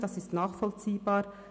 das ist nachvollziehbar.